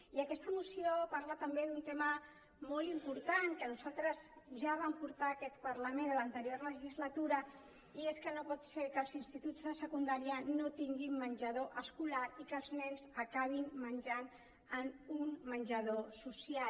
i aquesta moció parla també d’un tema molt important que nosaltres ja vam portar a aquest parlament en l’anterior legislatura i és que no pot ser que els instituts de secundària no tinguin menjador escolar i que els nens acabin menjant en un menjador social